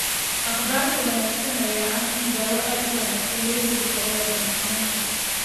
Akhbaarta wanaagsan ayaa ah in daweyn aad u wanaagsan loo heli karo wadne xanuunka.